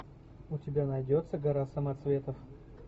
у тебя найдется гора самоцветов